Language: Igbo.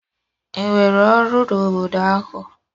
Ị nwere ọrụ n'obodo ahụ?